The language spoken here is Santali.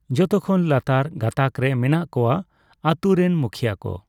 ᱡᱚᱛᱚ ᱠᱷᱚᱱ ᱞᱟᱛᱟᱨ ᱜᱟᱸᱛᱟᱠ ᱨᱮ ᱢᱮᱱᱟᱜ ᱠᱚᱣᱟ ᱟᱛᱩ ᱨᱮᱱ ᱢᱩᱠᱷᱤᱭᱟᱹ ᱠᱚ᱾